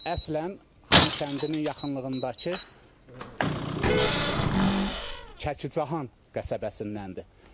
Əslən Xankəndinin yaxınlığındakı Çəkican qəsəbəsindəndir.